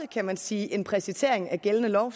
kan man sige en præcisering af gældende lov